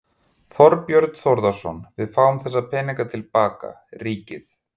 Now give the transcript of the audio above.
Þorbjörn Þórðarson: Við fáum þessa peninga til baka, ríkið?